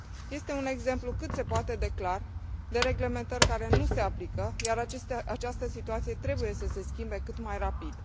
Este un exemplu cât se poate de clar de reglementări care nu se aplică, ia această situație trebuie să se schimbe cât mai rapid.